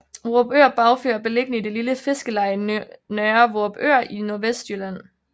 Vorupør Bagfyr er beliggende i det lille fiskeleje Nørre Vorupør i Nordvestlylland